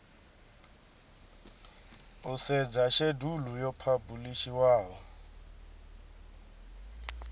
u sedza shedulu yo phabulishiwaho